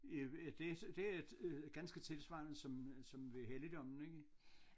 I i det det er øh ganske tilsvarende som som ved Helligdommen ikke